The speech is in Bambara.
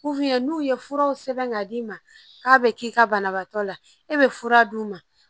n'u ye furaw sɛbɛn k'a d'i ma k'a bɛ k'i ka banabaatɔ la e bɛ fura d'u ma